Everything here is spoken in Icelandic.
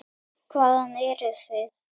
Hvaðan eruð þið?